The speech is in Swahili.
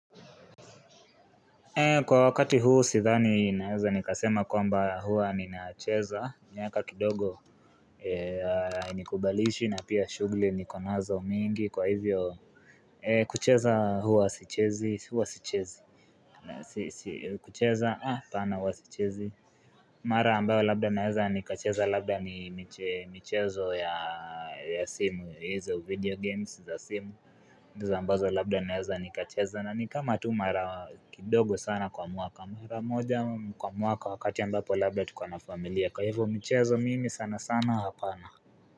Kwa wakati huu sidhani naeza nikasema kwamba huwa ninacheza miaka kidogo hainikubalishi na pia shughuli nikonazo mingi Kwa hivyo kucheza huwa sichezi kucheza ah apana huwa sichezi Mara ambayo labda naeza nikacheza labda ni michezo ya simu hizo video games za simu ambazo labda naeza nikacheza na ni kama tu mara kidogo sana kwa mwaka mara moja kwa mwaka wakati ambapo labda tuko na familia kwa hivyo michezo mimi sana sana hapana.